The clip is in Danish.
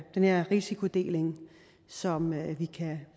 her risikodeling som vi